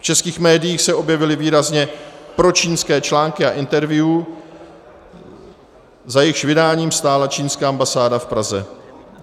V českých médiích se objevily výrazně pročínské články a interview, za jejichž vydáním stála čínská ambasáda v Praze.